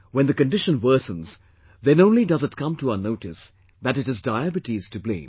When the condition worsens then only does it come to our notice that it is Diabetes to blame